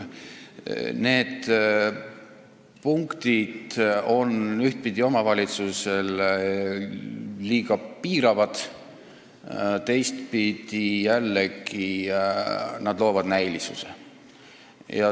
Need punktid on ühtpidi omavalitsusele liiga piiravad, teistpidi jällegi loovad näilisuse.